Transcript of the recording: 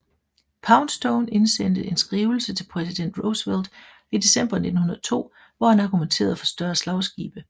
Poundstone indsendte en skrivelse til Præsident Roosevelt i december 1902 hvor han argumenterede for større slagskibe